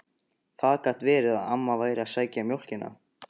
Það gat verið að amma væri að sækja mjólkina.